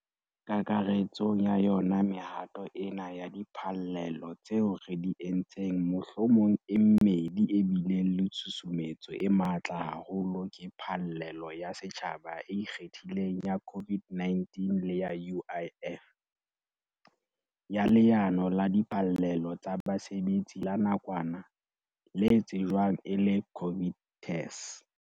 Kakaretsong ya yona mehato ena ya diphallelo tseo re di entseng mohlomong e mmedi e bileng le tshusumetso e matla haholo ke phallelo ya setjhaba e ikgethileng ya COVID-19 le ya UIF, ya Leano la Diphallelo tsa Basebetsi la Nakwana, le tsejwang feela e le COVID TERS.